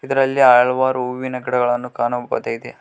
ಇದರಲ್ಲಿ ಹಲವಾರು ಹೂವಿನ ಗಿಡಗಳನ್ನು ಕಾಣಬಹುದಾಗಿದೆ.